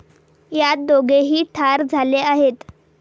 यात दोघेही ठार झाले आहेत.